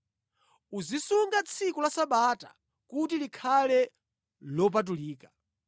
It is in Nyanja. “Uzisunga tsiku la Sabata kuti likhale lopatulika.